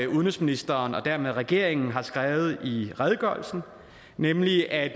udenrigsministeren og dermed regeringen har skrevet i redegørelsen nemlig at